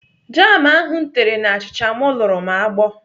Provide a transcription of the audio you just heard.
Jam ahụ m tere n'achicha m luru m agbọ.